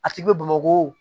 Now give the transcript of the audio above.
A tigi bɛ bamako